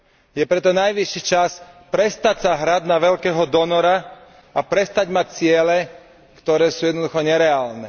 Je preto najvyšší čas prestať sa hrať na veľkého donora a prestať mať ciele, ktoré sú jednoducho nereálne.